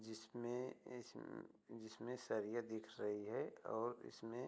जिसमें इस अम म जिसमें सरिया दिख रही है और इसमें --